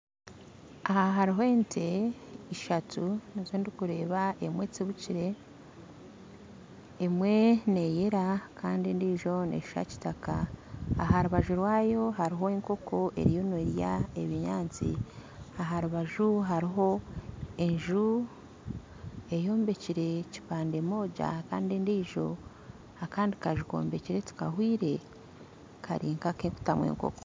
Aha hariho ente ishatu nizo ndikureeba emwe etsibikire emwe neyera kandi endijo neshuusha kitaka aharubaju rwayo hariho enkooko eriyo nerya ebinyaatsi aharubaju hariho enju eyombekire kipande moja kandi endiijo akandi kanju kombekire tikahwire kari nka akokutamu enkooko